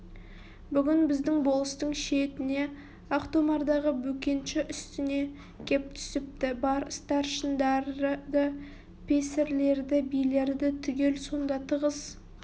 бүгін біздің болыстың шетіне ақтомардағы бөкенші үстіне кеп түсіпті бар старшындарды песірлерді билерді түгел сонда тығыз